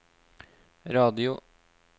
radio